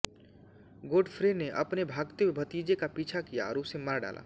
Godfrey ने अपने भागते हुए भतीजे का पीछा किया और उसे मार डाला